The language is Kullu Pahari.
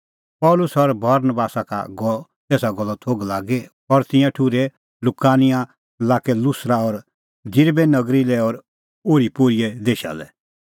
पल़सी और बरनबासा का गअ एसा गल्लो थोघ लागी और तिंयां ठुर्है लुकानिआ लाक्के लुस्रा और दिरबे नगरी लै और ओरीपोरीए देशा लै